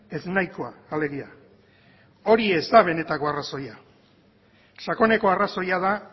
ez nahikoa alegia hori ez da benetako arrazoia sakoneko arrazoia da